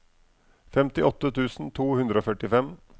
femtiåtte tusen to hundre og førtifem